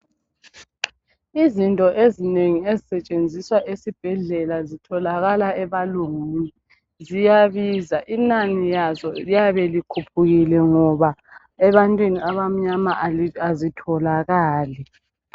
Izinto ezinengi ezisetshenziswa ezibhedlela zitholakala ebalungwini. Ziyabiza inani lazo liyabe likhuphukile ngoba ebantwini abamnyama azitholakali.